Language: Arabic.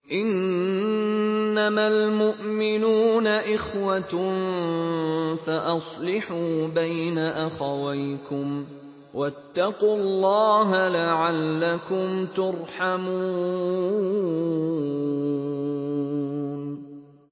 إِنَّمَا الْمُؤْمِنُونَ إِخْوَةٌ فَأَصْلِحُوا بَيْنَ أَخَوَيْكُمْ ۚ وَاتَّقُوا اللَّهَ لَعَلَّكُمْ تُرْحَمُونَ